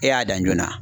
E y'a dan joona